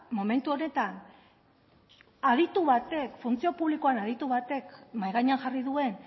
momentu honetan aditu batek funtzio publikoan aditu batek mahai gainean jarri duen